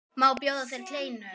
Má bjóða þér kleinu?